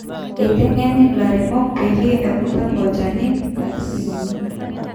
eitengeni illairemok peyie ekutaki olchani katitin uni